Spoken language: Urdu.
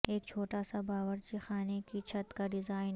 ایک چھوٹا سا باورچی خانے کی چھت کا ڈیزائن